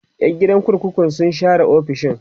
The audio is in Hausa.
Yan gidan kurkukun sun share ofisoshin